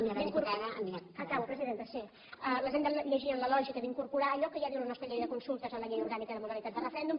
acabo presidenta sí les hem de llegir en la lògica d’incorporar allò que ja diu la nostra llei de consultes a la llei orgànica de modalitats de referèndum